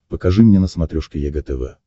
покажи мне на смотрешке егэ тв